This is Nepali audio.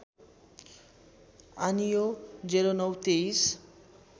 आनियो ०९ २३